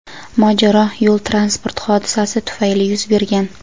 mojaro yo‘l-transport hodisasi tufayli yuz bergan.